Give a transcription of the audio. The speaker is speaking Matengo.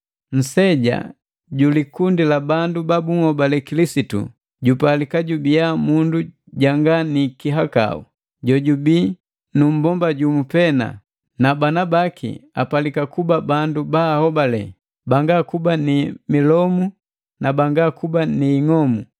Nseja bi likundi la bandu ba bunhobale Kilisitu jupalika jubiya mundu janga ni kihakau; jojubii nu mmbomba jumu pena, na bana baki apalika kuba bandu baahobale, banga kuba ni milomu na banga kuba ni ing'omu.